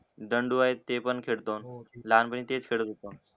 दांडू हाय ते पण खेळतो आम्ही लहान पाणी तेच खेळतो